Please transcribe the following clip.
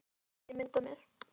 Svo sendi ég mynd af mér.